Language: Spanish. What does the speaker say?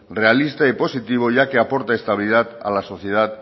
realista y positivo ya que aporta estabilidad a la sociedad